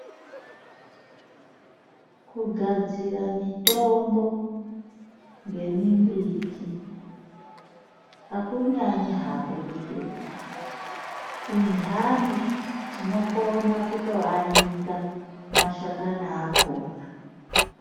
Kugadzira mitombo ngemimbiti hakunyanyi hako kuhlupa Indani tinokona kutoanika mashakani akona.